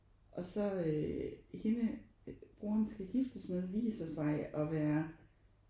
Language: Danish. Og så øh hende broren skal giftes med viser sig at være